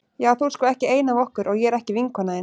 Já þú ert sko ekki ein af okkur og ég er ekki vinkona þín.